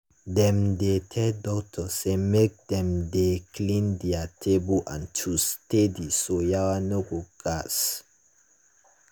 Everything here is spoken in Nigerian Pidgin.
dem dey tell doctors say make dem dey clean their table and tools steady so yawa no go gas.